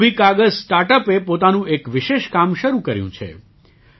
કુંભી કાગઝ સ્ટાર્ટ અપે પોતાનું એક વિશેષ કામ શરૂ કર્યું છે